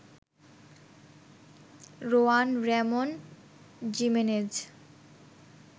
Rowan Ramon Jimenez